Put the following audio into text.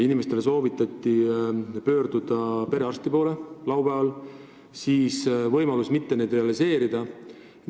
Inimestele soovitati laupäeval perearsti poole pöörduda.